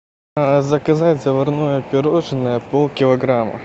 заказать заварное пирожное пол килограмма